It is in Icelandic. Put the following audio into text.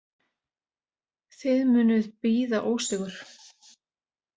Þið munuð bíða ósigur.